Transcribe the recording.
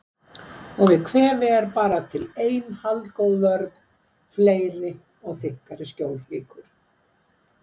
Og við kvefi var bara til ein haldgóð vörn: Fleiri og þykkari skjólflíkur.